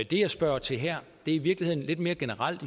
det jeg spørger til her er i virkeligheden lidt mere generelt og